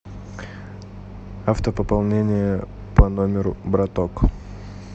автопополнение по номеру браток